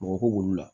Mɔgɔ ko wolo la